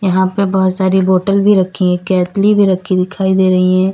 यहां पे बहुत सारी बॉटल भी रखी हैं केतली भी रखी दिखाई दे रही हैं।